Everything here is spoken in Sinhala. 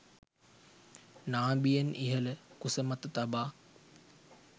නාභියෙන් ඉහළ කුසමත තබා